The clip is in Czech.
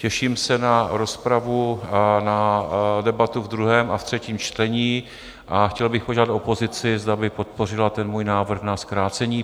Těším se na rozpravu a na debatu v druhém a v třetím čtení a chtěl bych požádat opozici, zda by podpořila ten můj návrh na zkrácení.